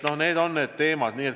Need on need teemad.